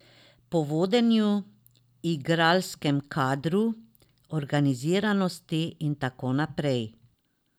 Po vodenju, igralskem kadru, organiziranosti in tako naprej.